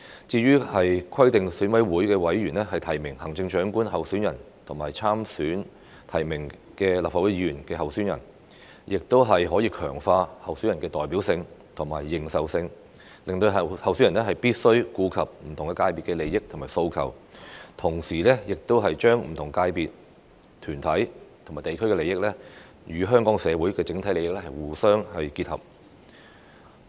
至於規定選委會委員提名行政長官候選人和參與提名立法會議員候選人，亦可強化候選人的代表性和認受性，令候選人必須顧及不同界別的利益和訴求，同時亦把不同界別、團體和地區的利益，與香港社會的整體利益互相結合。